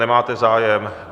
Nemáte zájem.